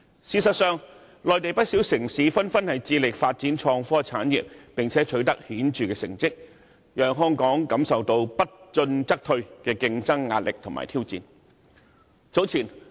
事實上，內地不少城市紛紛致力發展創科產業，而且成績顯著，令香港面對不進則退的競爭壓力及挑戰。